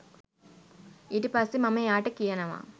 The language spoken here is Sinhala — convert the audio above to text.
ඊට පස්සේ මම එයාට කියනවා